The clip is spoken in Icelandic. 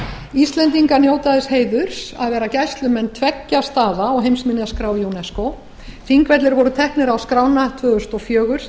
íslendingar njóta þess heiðurs að vera gæslumenn tveggja staða á heimsminjaskrá unesco þingvellir voru teknir á skrána tvö þúsund og fjögur sem